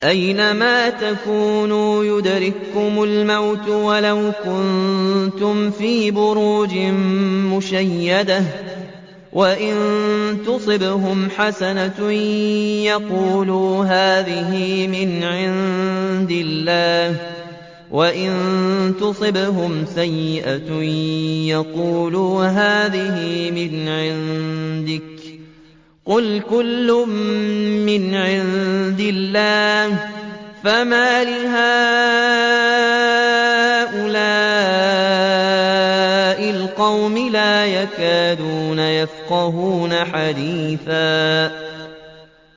أَيْنَمَا تَكُونُوا يُدْرِككُّمُ الْمَوْتُ وَلَوْ كُنتُمْ فِي بُرُوجٍ مُّشَيَّدَةٍ ۗ وَإِن تُصِبْهُمْ حَسَنَةٌ يَقُولُوا هَٰذِهِ مِنْ عِندِ اللَّهِ ۖ وَإِن تُصِبْهُمْ سَيِّئَةٌ يَقُولُوا هَٰذِهِ مِنْ عِندِكَ ۚ قُلْ كُلٌّ مِّنْ عِندِ اللَّهِ ۖ فَمَالِ هَٰؤُلَاءِ الْقَوْمِ لَا يَكَادُونَ يَفْقَهُونَ حَدِيثًا